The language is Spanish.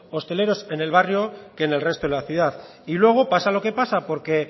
hosteleros en el barrio que en el resto de la ciudad y luego pasa lo que pasa porque